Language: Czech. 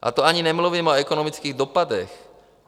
A to ani nemluvím o ekonomických dopadech.